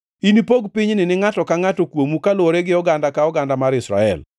“Inipog pinyni ni ngʼato ka ngʼata kuomu kaluwore gi oganda ka oganda mar Israel.